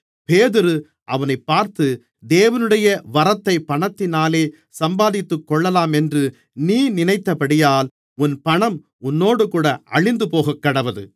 பேதுரு அவனைப் பார்த்து தேவனுடைய வரத்தை பணத்தினாலே சம்பாதித்துக்கொள்ளலாம் என்று நீ நினைத்தபடியால் உன் பணம் உன்னோடுகூட அழிந்து போகக்கடவது